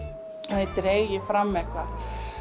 þannig dreg ég fram eitthvað